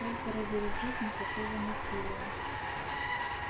только разоружить никакого насилия